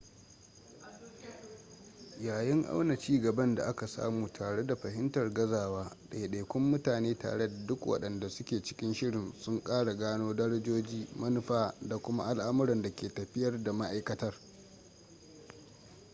yayin auna cigaban da aka samu tare da fahimtar gazawa ɗaiɗaikun mutane tare da duk waɗanda suke cikin shirin sun ƙara gano darajoji manufa da kuma al'amuran da ke tafiyar da ma'aikatar